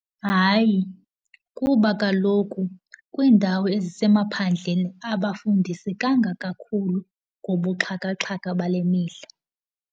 Hayi, kuba kaloku kwiindawo ezisemaphandleni abafundisekanga kakhulu ngobuxhakaxhaka bale mihla.